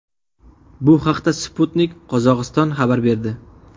Bu haqda Sputnik Qozog‘iston xabar berdi.